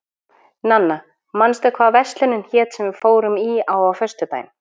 Nanna, manstu hvað verslunin hét sem við fórum í á föstudaginn?